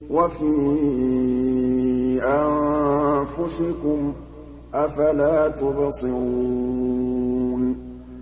وَفِي أَنفُسِكُمْ ۚ أَفَلَا تُبْصِرُونَ